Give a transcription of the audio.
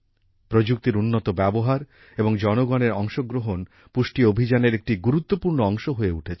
প্রযুক্তির উন্নত ব্যবহার এবং জনগণের অংশগ্রহণ পুষ্টি অভিযানের একটি গুরুত্বপূর্ণ অংশ হয়ে উঠেছে